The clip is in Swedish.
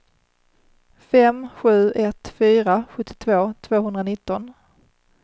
fem sju ett fyra sjuttiotvå tvåhundranitton